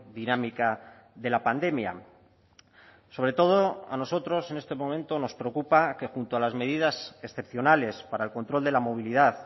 dinámica de la pandemia sobre todo a nosotros en este momento nos preocupa que junto a las medidas excepcionales para el control de la movilidad